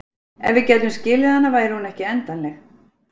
Ef við gætum skilið hana væri hún ekki endanleg.